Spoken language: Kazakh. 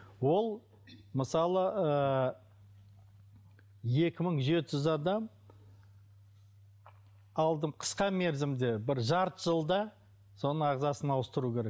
ол мысалы ыыы екі мың жеті жүз адам қысқа мерзімде бір жарты жылда соның ағзасын ауыстыру керек